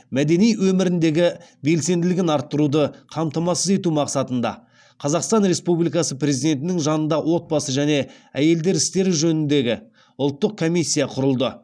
мәдени өміріндегі белсенділігін арттыруды қамтамасыз ету мақсатында қазақстан республикасы президентінің жанында отбасы және әйелдер істері жөніндегі ұлттық комиссия құрылды